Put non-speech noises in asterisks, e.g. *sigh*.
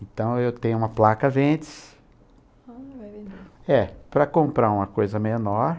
Então, eu tenho uma placa Ventes, *unintelligible* eh, para comprar uma coisa menor.